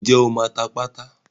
Ǹjẹ́ o máa ta pátá?